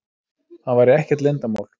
Það væri ekkert leyndarmál.